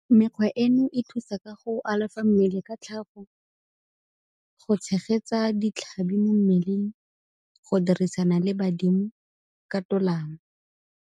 Mekgwa eno e thusa ka go alafa mmele ka tlhago, go tshegetsa ditlhabi mo mmeleng, go dirisana le badimo ka tolamo.